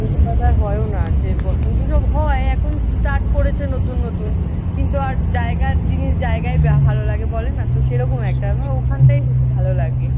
ওই রকমভাবে আর হয়ও না। যে বসন্ত উৎসব হয়, এখন start করেছে নতুন নতুন। কিন্তু আর জায়গার জিনিস জায়গায় ভালো লাগে বলে না। তো সেই রকম একটা আমার ওখানটাই বেশি ভালো লাগে।